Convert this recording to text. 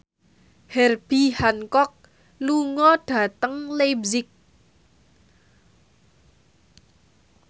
Herbie Hancock lunga dhateng leipzig